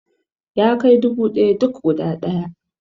Yana kai dubu ɗaya duk guda ɗaya